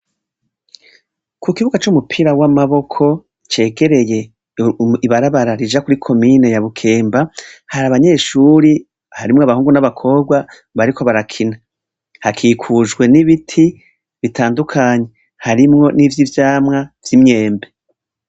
Kukibuga c'umupira w'amaboko cegereye ibarabara rija kuri komine ya Bukemba, hari abanyeshure, harimwo abahungu n,abakobwa bariko barakina. Hakikujwe n'ibiti bitandukanye harimwo n'ivy'ivyamwa vy'imyembe.